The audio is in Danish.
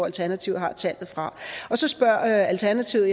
alternativet har tallet fra så spørger alternativet